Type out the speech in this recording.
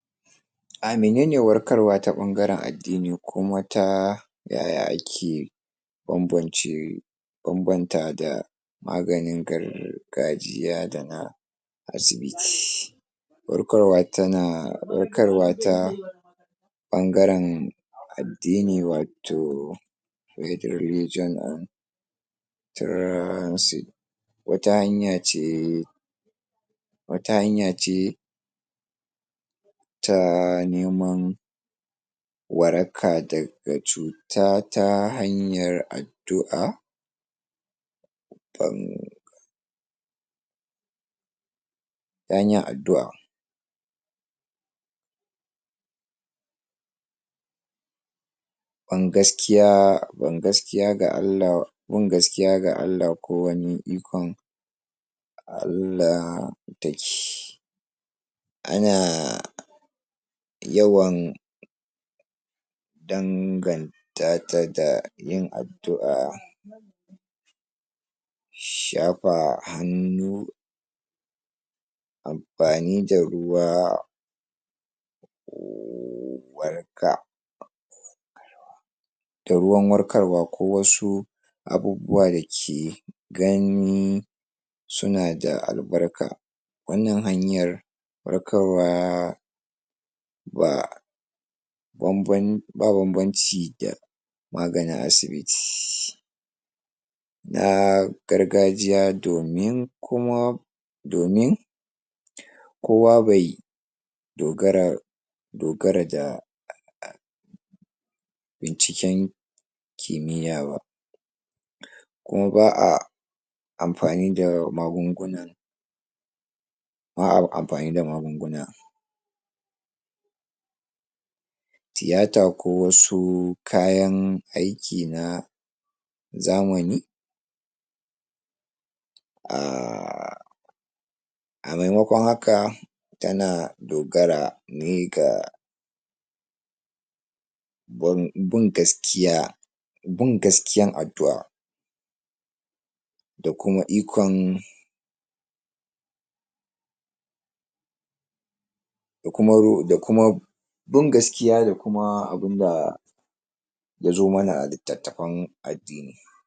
A mi nene warkarwa ta ɓangaren addini kuma ta yaya ake banbance banbanta da maganin gargajiya da na asibi. warkarwa tana warkarwa ta ɓangaren addini wato religion and trasansive wata hanya ce wata hanya ce ta neman waraka daga cuta ta hanyar addu'a kan ta hanyar addu'a ban gaskiya ban gaskiya da bin gaskiya da Allah ko wani ikon Allah dake ana yawan dangan ta ta da yin addu'a shafa hannu amfani da ruwa waraka da ruwan warkarwa ko wasu abubuwa da ke gan sun da albarka wannan hanyar warkarwa ba banban ba banbanci da maganin asibiti. Na gargajiya domin kuma domin kowa bai dogara dogara da binciken kimiyya ba kuma ba a mfani da magungunan, ba a amfani da magunguna tiyata ko wasu kayan aiki na zamani a a maimakon haka tana dogara ne da bin gaskiya bin gaskiyan addu'a da kuma ikon da kuma da kuma bin gaskiya da kuma abin da ya zo mana a litattafan addini.